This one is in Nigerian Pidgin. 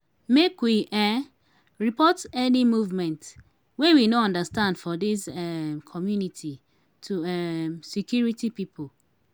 make we um report any movement wey we no understand for dis um community to um security pipo.